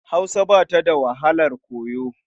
Hausa ba ta da wahalar koyo.